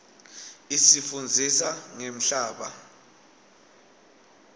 isifundzisa ngemhlaba